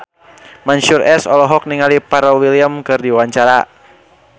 Mansyur S olohok ningali Pharrell Williams keur diwawancara